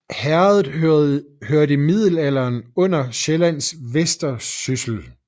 Herredet hørte i middelalderen under Sjællands Vestersyssel